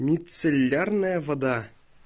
мицеллярная вода